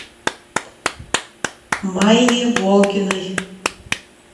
майе волгиной